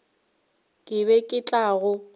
ke be ke tla go